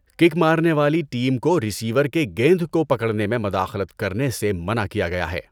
Kick مارنے والی team کو ریسیور کے گیند کو پکڑنے میں مداخلت کرنے سے منع کیا گیا ہے۔